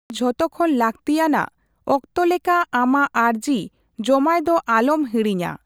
ᱡᱷᱚᱛᱚ ᱠᱷᱚᱱ ᱞᱟᱹᱠᱛᱤᱭᱟᱱᱟᱜ, ᱚᱠᱛᱚ ᱞᱮᱠᱟ ᱟᱢᱟᱜ ᱟᱹᱨᱡᱤ ᱡᱚᱢᱟᱭ ᱫᱚ ᱟᱞᱚᱢ ᱦᱤᱲᱤᱧᱟ ᱾